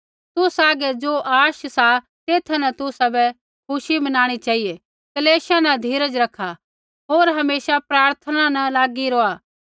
तुसा हागै ज़ो आश सा तेथा न तुसाबै खुशी मनाणी चेहिऐ क्लेशा न धीरज रखा होर हमेशा प्रार्थना न लागी रौहा